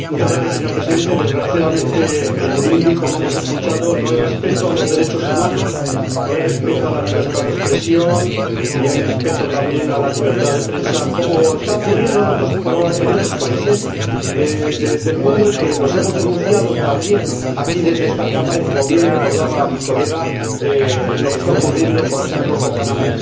Señor Presidente, desgraciadamente en Burundi, como hemos escuchado, no hay respeto de los derechos humanos, no hay respeto de la libertad de expresión, ni hay respeto tampoco de la libertad de prensa, como está ocurriendo en otros países del mundo a los que hemos denunciado también aquí, desde esta Cámara, y como bien recordaba mi colega, es lo que está ocurriendo también, por ejemplo, cercanamente,